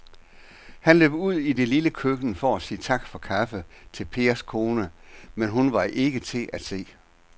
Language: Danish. Han løb ud i det lille køkken for at sige tak for kaffe til Pers kone, men hun var ikke til at se.